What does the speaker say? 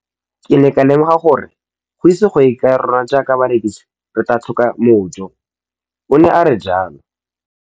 Ke ne ka lemoga gore go ise go ye kae rona jaaka barekise re tla tlhoka mojo, o ne a re jalo.